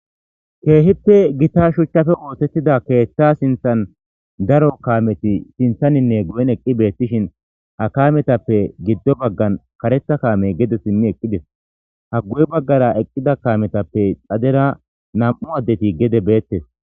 keehippe gita shuchchafe ootettida keeththa sinthan daro kaameti sinthaninne guyen eqqi beettishin ha kaametappe giddo baggan karetha kaame gede sinni eqqides haggu7e baggara eqqida kaametappe xadera nam7u addeti gede beettes